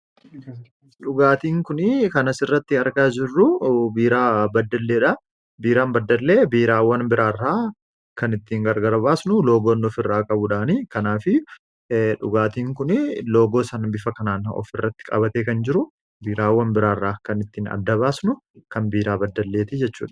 Dhugaatiin kun kan asirratti argaa jiruu biiraa baddaleedha, biiraan baddalee biiraawwan bira irraa kan ittiin adda baasnu loogoon offii irraa qabuudhaanii, kanaafuu dhugaatiin kuni loogoo san bifa kanaan of irratti qabatee kan jiru biiraawwan biraarraa kan ittiin adda baasnu kan biiraa baddalleeti jechuudha.